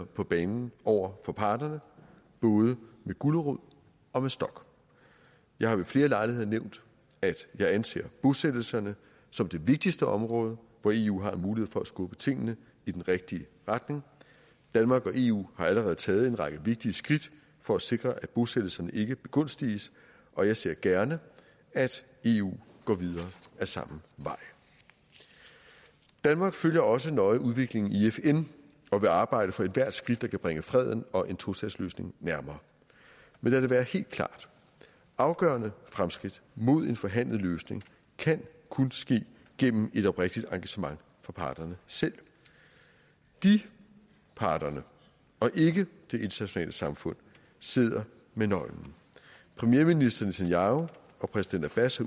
på banen over for parterne både med gulerod og med stok jeg har ved flere lejligheder nævnt at jeg anser bosættelserne som det vigtigste område hvor eu har en mulighed for at skubbe tingene i den rigtige retning danmark og eu har allerede taget en række vigtige skridt for at sikre at bosættelserne ikke begunstiges og jeg ser gerne at eu går videre ad samme vej danmark følger også nøje udviklingen i fn og vil arbejde for ethvert skridt der kan bringe freden og en tostatsløsning nærmere men lad det være helt klart afgørende fremskridt mod en forhandlet løsning kan kun ske gennem et oprigtigt engagement fra parterne selv de parterne og ikke det internationale samfund sidder med nøglen premierminister netanyahu og præsident abbas